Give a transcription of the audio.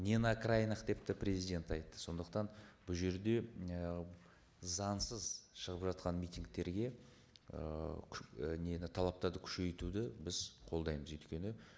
не на окраинах деп те президент айтты сондықтан бұл жерде і заңсыз шығып жатқан митингтерге ыыы нені талаптарды күшейтуді біз қолдаймыз өйткені